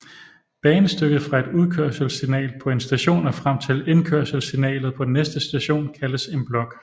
Banestykket fra et udkørselssignal på en station og frem til indkørselssignalet på den næste station kaldes en blok